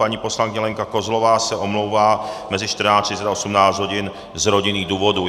Paní poslankyně Lenka Kozlová se omlouvá mezi 14.30 a 18 hodin z rodinných důvodů.